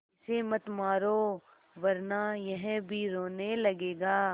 इसे मत मारो वरना यह भी रोने लगेगा